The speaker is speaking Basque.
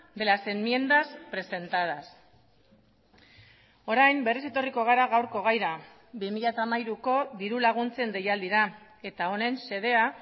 de las enmiendas presentadas orain berriz etorriko gara gaurko gaira bi mila hamairuko dirulaguntzen deialdira eta honen xedea